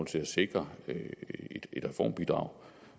til at sikre et reformbidrag